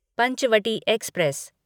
Panchavati express